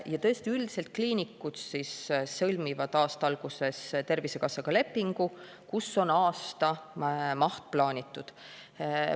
Ja tõesti, üldiselt kliinikud sõlmivad aasta alguses Tervisekassaga lepingu, kus on aastamaht plaanitud.